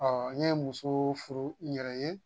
n ye muso furu n yɛrɛ ye